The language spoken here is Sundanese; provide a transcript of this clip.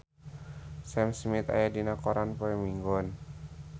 Sam Smith aya dina koran poe Minggon